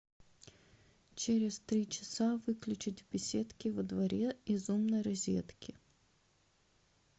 через три часа выключить в беседке во дворе из умной розетки